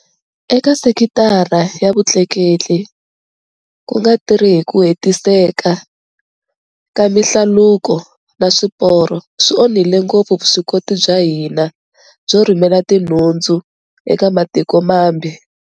Eka sekitara ya vutleketli, ku nga tirhi hi ku hetiseka ka mihlaluko na swiporo swi onhile ngopfu vuswikoti bya hina byo rhumela tinhundzu eka matiko mambe.